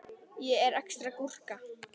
Mér finnst þú eitthvað svo þung í dag.